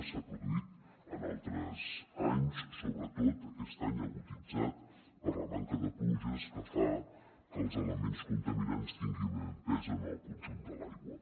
s’ha produït en altres anys sobretot aquest any aguditzat per la manca de pluges que fa que els elements contaminants tinguin més pes en el conjunt de l’aigua